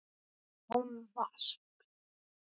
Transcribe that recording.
Án vasks.